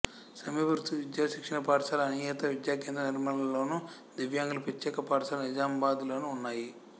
సమీప వృత్తి విద్యా శిక్షణ పాఠశాల అనియత విద్యా కేంద్రం నిర్మల్లోను దివ్యాంగుల ప్రత్యేక పాఠశాల నిజామాబాద్ లోనూ ఉన్నాయి